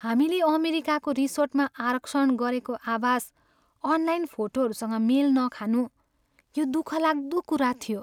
हामीले अमेरिकाको रिसोर्टमा आरक्षण गरेको आवास अनलाइन फोटोहरूसँग मेल नखानु यो दुःखलाग्दो कुरा थियो।